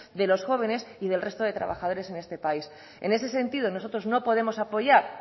de los jóvenes y del resto de trabajadores en este país en ese sentido nosotros no podemos apoyar